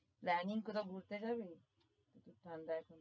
planning করে ঘুরতে যাবি? প্রচুর ঠান্ডা এখন।